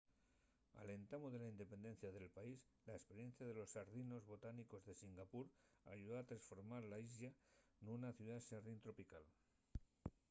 al entamu de la independencia del país la esperiencia de los xardinos botánicos de singapur ayudó a tresformar la islla nuna ciudá xardín tropical